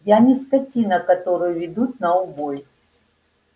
я не скотина которую ведут на убой